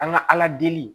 An ka ala deli